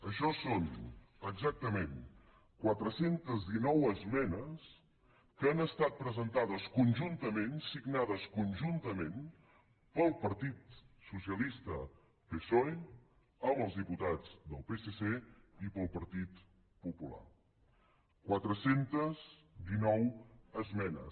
això són exactament quatre cents i dinou esmenes que han estat presentades conjuntament signades conjuntament pel partit socialista psoe amb els diputats del psc i pel partit popular quatre cents i dinou esmenes